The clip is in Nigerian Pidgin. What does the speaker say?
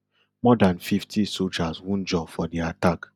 more dan fifty sojas wunjure for di attack